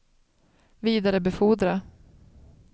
vidarebefordra